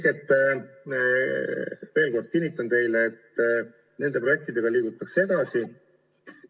Ma veel kord kinnitan teile, et nende projektidega liigutakse edasi.